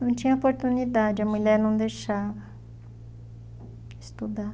Não tinha oportunidade, a mulher não deixava estudar.